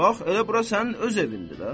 Bax, elə bura sənin öz evindir də.